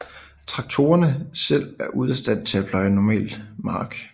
Traktorerne selv er ude af stand til at pløje en normal mark